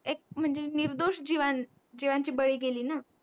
एक म्हणजे नीरदोष जीवा जीवाची बडी गेली ना